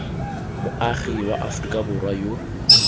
moagi wa aforika borwa yo